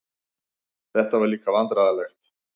Þetta var líka vandræðalegt.